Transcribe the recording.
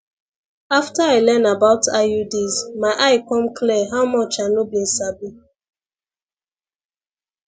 after i learn about iuds my eye come clear how much i no been sabi